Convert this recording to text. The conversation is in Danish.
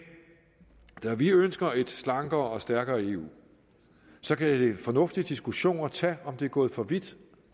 vi ønsker et slankere og stærkere eu så kan det være en fornuftig diskussion at tage om det er gået for vidt